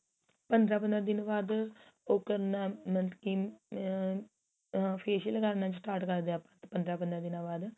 ਪੰਦਰਾਂ ਪੰਦਰਾਂ ਦਿਨ ਬਾਅਦ ਉਹ ਕਰਨਾ ਮਤਲਬ ਕੀ ਆ facial ਕਰਨਾ start ਕਰਦੇ ਆ ਆਪਾਂ ਪੰਦਰਾਂ ਪੰਦਰਾਂ ਦਿਨਾ ਬਾਅਦ